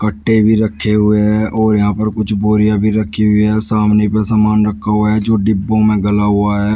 पट्टे भी रखें हुए हैं और यहां पर कुछ बोरिया भी रखी हुई है सामने पर सामान रखा हुआ है जो डिब्बों में गला हुआ है।